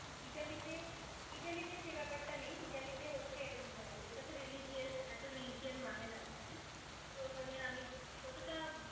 ইতালিতে ইতালিতে সে ব্যপারটা নেই ইতালিতে হচ্ছে উম ওরা তো religious এত religion মানে না ওখানে তবে ওখানে আমি যতটা